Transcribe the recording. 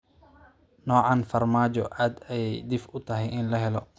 Noocan farmaajo aad ayey dhif u tahay in la helo